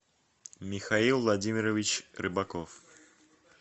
михаил владимирович рыбаков